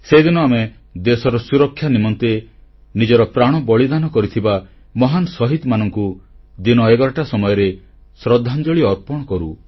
ସେଦିନ ଆମେ ଦେଶର ସୁରକ୍ଷା ନିମନ୍ତେ ନିଜର ପ୍ରାଣବଳି ଦେଇଥିବା ମହାନ ଶହୀଦମାନଙ୍କୁ ଦିନ ଏଗାରଟା ସମୟରେ ଶ୍ରଦ୍ଧାଞ୍ଜଳି ଅର୍ପଣ କରୁ